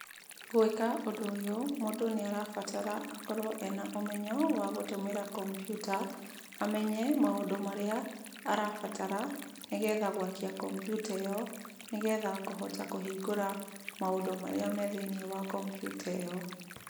Gũĩka ũndũ ũyũ, mũndũ nĩ arabatara akorwo ena ũmenyo wa gũtũmĩra kompiuta, amenye maũndũ marĩa arabata, nĩgetha gwakia kompiuta ĩyo, nĩgetha kũhota kũhingũra maũndũ marĩa me thĩiniĩ wa kompiuta ĩyo.